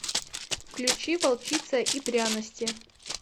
включи волчица и пряности